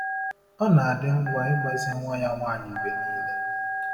Ọ na-adị ngwa ịgbazi nwa ya nwanyị mgbe niile.